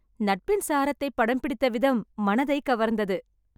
நட்பின் சாரத்தை படம் பிடித்த விதம் மனதைக் கவர்ந்தது .